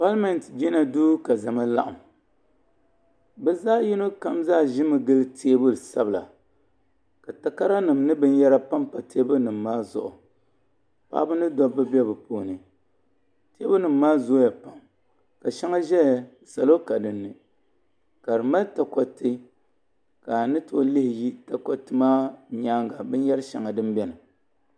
Paliment jina duu ka zama laɣim. Bɛ zaɣi yino kam ʒimi n gili teebuli sabila. Ka takaranim nye binyera pam pa teibuli nim maa zuɣu. Paɣaba ni dabba be di puuni. Teebulinim maa zooya pam. Ka sheŋa zeya salo ka din ni. ka di mali takoriti ka a ni too lihi yi takoriti maa nyaaŋa binyeri sheŋa din beni.